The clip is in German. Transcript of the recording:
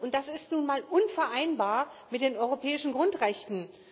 Das ist nun mal unvereinbar mit den europäischen Grundrechten.